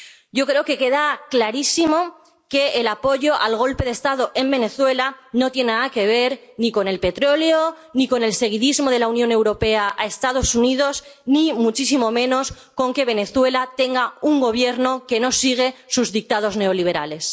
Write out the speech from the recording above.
Yo creo que queda clarísimo que el apoyo al golpe de Estado en Venezuela no tiene nada que ver ni con el petróleo, ni con el seguidismo de la Unión Europea a los Estados Unidos, ni muchísimo menos con que Venezuela tenga un Gobierno que no sigue sus dictados neoliberales.